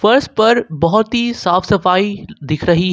फर्श पर बहुत ही साफ सफाई दिख रही है।